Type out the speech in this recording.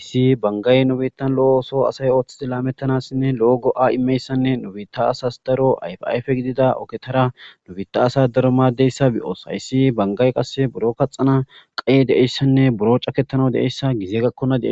Issi banggay nu bittan lo'o ooso asay Ooththidi lametanasinne lo'o go'a imiyatisanne nu biitta asas daro ayfa ayfe gidida oogetara lo'oeththi asa daro maadizayssa beyos hayssi banggay qase buro kaxanas qaye dei'yayisanne buro caaketanas de'iayssanne gizey gakennan